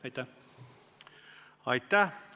Aitäh!